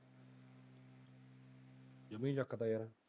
ਜਮਾ ਹੀ ਚੱਕ ਤਾ ਯਾਰ।